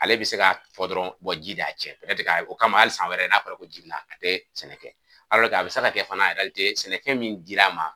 Ale bi se ka fɔ dɔrɔn ji de y'a cɛn o kama hali san wɛrɛ n'a fɔla ko ji bi na a tɛ sɛnɛ kɛ a bi se ka kɛ fana sɛnɛfɛn mindir'a ma.